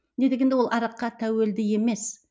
не дегенде ол араққа тәуелді емес